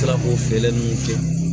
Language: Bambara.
Tila k'o feere ninnu kɛ